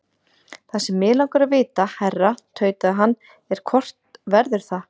Það sem mig langar að vita, herra tautaði hann, er, hvort verður það?